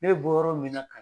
Ne bɛ bɔ yɔrɔ min na